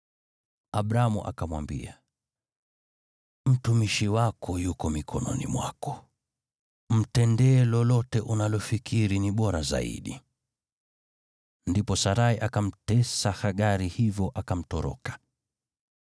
Abramu akamwambia, “Mtumishi wako yuko mikononi mwako. Mtendee lolote unalofikiri ni bora zaidi.” Ndipo Sarai akamtesa Hagari, hivyo akamtoroka.